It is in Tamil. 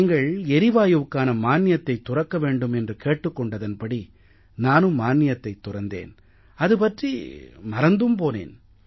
நீங்கள் எரிவாயுவுக்கான மானியத்தைத் துறக்க வேண்டும் என்று கேட்டுக் கொண்டதன்படி நானும் மானியத்தைத் துறந்தேன் அது பற்றி மறந்தும் போனேன்